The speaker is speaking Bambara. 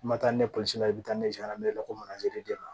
I ma taa ni la i bi taa